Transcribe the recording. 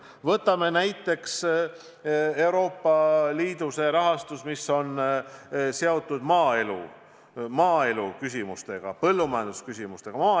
Võtame näiteks Euroopa Liidu rahastuse, mis on seotud maaeluküsimustega, põllumajandusküsimustega.